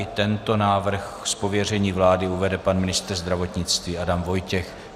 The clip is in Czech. I tento návrh z pověření vlády uvede pan ministr zdravotnictví Adam Vojtěch.